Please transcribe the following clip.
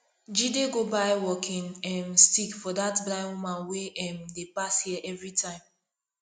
jide go buy walking um stick for dat blind woman wey um dey pass here everytime